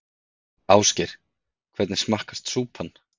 Ásgeir: Hvernig smakkaðist súpan?